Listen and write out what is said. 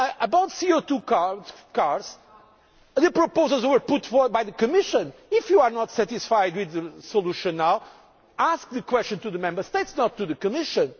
the objective for climate change. On low CO 2 cars, the proposals were put forward by the Commission. If you are not satisfied with the solution now, put the question to the